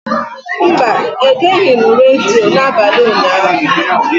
Mba, egeghị m redio n'abalị ụnyaahụ.